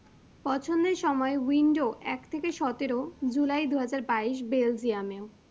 পছন্দের সময় window এক থেকে সতেরো জুলাই দু হাজার বাইশ belgium মেও।